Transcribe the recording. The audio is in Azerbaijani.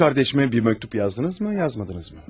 Qız qardaşımə bir məktub yazdınızmı, yazmadınızmı?